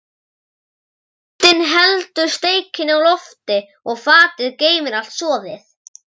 Grindin heldur steikinni á lofti og fatið geymir allt soðið.